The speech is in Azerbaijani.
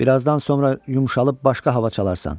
Birazdan sonra yumşalıb başqa hava çalarsan.